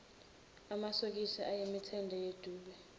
amasokisi ayemithende yedube